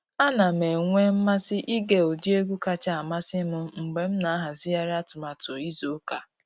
A na m enwe mmasị ịge ụdị egwu kacha amasị m mgbe m na ahazigharị atụmatụ izu ụka.